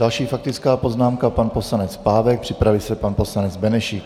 Další faktická poznámka, pan poslanec Pávek, připraví se pan poslanec Benešík.